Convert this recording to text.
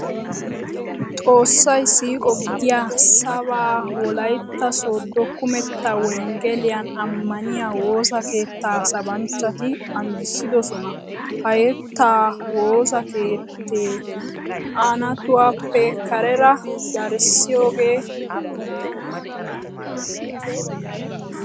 Xoossay siiqo giya sabaa Wolaytta Sooddo kumetta wonggeliyan ammaniya woosa keettaa sabanchchati anjjissidosona. Ha yettaa woosa keettee anttuwappe kareera darissiyogee danddayettenna.